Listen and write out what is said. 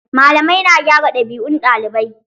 Malamai na gyara ɗabi'un ɗalibai